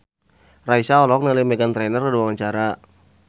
Raisa olohok ningali Meghan Trainor keur diwawancara